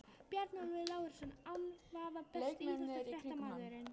Bjarnólfur Lárusson án vafa Besti íþróttafréttamaðurinn?